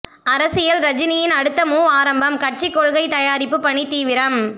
அரசியல் ரஜினியின் அடுத்த மூவ் ஆரம்பம் கட்சி கொள்கை தயாரிப்பு பணி தீவிரம்